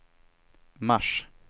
mars